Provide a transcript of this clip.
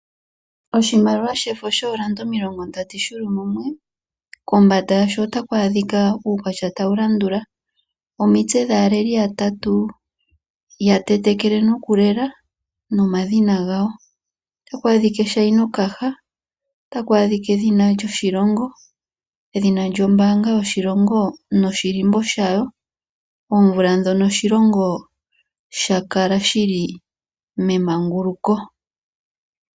Oshimaliwa shefo shoodola omilongondatu dhi li mumwe kombanda yasho otaku adhika uukwatya tawu landula: omitse dhaaleli yatatu ya tetekele nokulela nomadhina gawo, otaku adhika eshainokaha, edhina lyoshilongo, edhina lyombaanga yoshilongo noshihako shawo, omvula ndjono oshilongo sha kala shi li memanguluko.